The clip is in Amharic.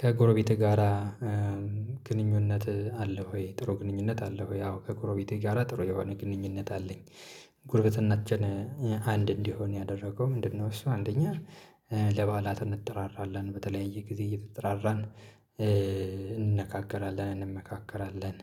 ከጎረቤትህ ጋራ ግንኙነት አለህ ወይ? ጥሩ ግንኙነት አለህ ወይ? አዎ ከጎረቤቴ ጋራ ጥሩ የሆነ ግንኙነት አለኝ። ጉርብትናችን አንድ እንዲሆን ያደረገው ምንድነው እሱ አንደኛ ለበዓላት እንጠራራለን፣ በተለየ ጊዜ እየተጠራራን እንነጋገራለን፣ እንመካከራለን